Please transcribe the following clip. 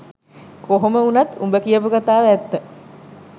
කොහොම උනත් උඹ කියපු කතාව ඇත්ත